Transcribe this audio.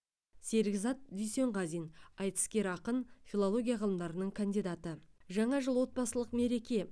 серікзат дүйсенғазин айтыскер ақын филология ғылымдарының кандидаты жаңа жыл отбасылық мереке